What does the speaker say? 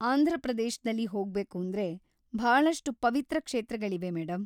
ಆಂಧ್ರಪ್ರದೇಶ್ದಲ್ಲಿ ಹೋಗ್ಬೇಕೂಂದ್ರೆ ಭಾಳಷ್ಟು ಪವಿತ್ರ ಕ್ಷೇತ್ರಗಳಿವೆ ಮೇಡಂ.